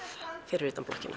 fyrir utan blokkina